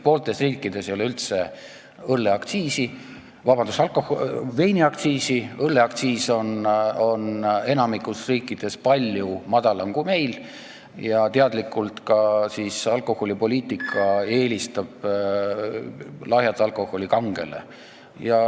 Pooltes riikides ei ole üldse veiniaktsiisi, õlleaktsiis on enamikus riikides palju madalam kui meil ja alkoholipoliitika eelistab teadlikult lahjat alkoholi kangele.